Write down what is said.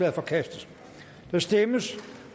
er forkastet der stemmes